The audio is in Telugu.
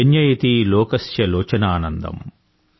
జన్యయతి లోకస్య లోచన ఆనందం